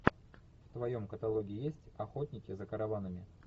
в твоем каталоге есть охотники за караванами